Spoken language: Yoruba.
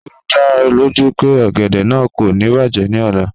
Ṣe o da ọ loju pe ogede naa ko ni bajẹ ni ọla?